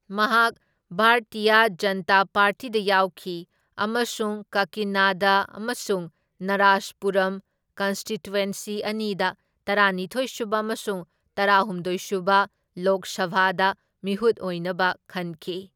ꯃꯍꯥꯛ ꯚꯥꯔꯇꯤꯌ ꯖꯟꯇꯥ ꯄꯥꯔꯇꯤꯗ ꯌꯥꯎꯈꯤ ꯑꯃꯁꯨꯡ ꯀꯀꯤꯅꯥꯗ ꯑꯃꯁꯨꯡ ꯅꯥꯔꯥꯁꯄꯨꯔꯝ ꯀꯟꯁꯇꯤꯇ꯭ꯋꯦꯟꯁꯤ ꯑꯅꯤꯗ ꯇꯔꯥꯅꯤꯊꯣꯢ ꯁꯨꯕ ꯑꯃꯁꯨꯡ ꯇꯔꯥꯍꯨꯝꯗꯣꯢ ꯁꯨꯕ ꯂꯣꯛ ꯁꯚꯥꯗ ꯃꯤꯍꯨꯠ ꯑꯣꯢꯅꯕ ꯈꯟꯈꯤ꯫